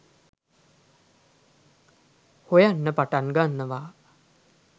හොයන්න පටන් ගන්නවා